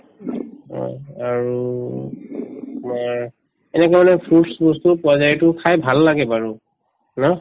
হয় আৰু আৰু এনেকে মানে fruits বস্তুও পোৱা যায় এইটো খাই ভাল লাগে বাৰু ন